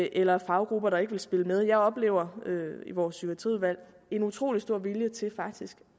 eller faggrupper der ikke vil spille med jeg oplever i vores psykiatriudvalg en utrolig stor vilje til faktisk